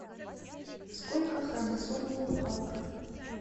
сколько хромосом у халка